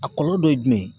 A kɔlɔlɔ dɔ ye jumɛn ye